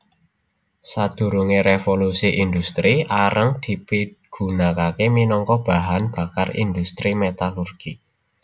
Sadurungé Révolusi Indhustri areng dipigunakaké minangka bahan bakar indhustri metalurgi